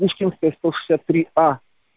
пушкинская сто шестьдесят три а